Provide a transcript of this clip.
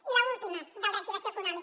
i l’última la reactivació econòmica